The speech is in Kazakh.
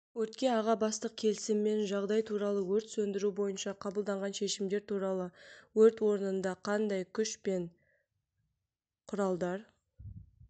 өртке аға бастық келісімен жағдай туралы өрт сөндіру бойынша қабылданған шешімдер туралы өрт орынында қандай күш пен құралдар